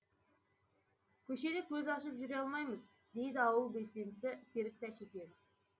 көшеде көз ашып жүре алмаймыз дейді ауыл белсендісі серік тәшекенов